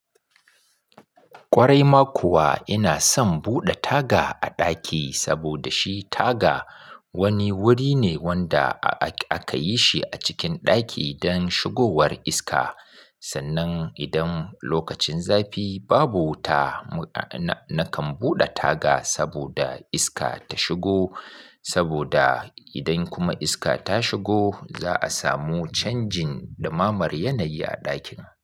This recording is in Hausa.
Kwarai ma kuwa ina son buɗe taga a ɗaki saboda shi taga wani wuri ne wanda aka yi shi a cikin ɗaki don shigowar iska. Sannan idan lokacin zafi babu wuta, na kan buɗe taga saboda iska ta shigo. Saboda idan kuma iska ta shigo za a samu canjin dumamar yanayi a ɗakin.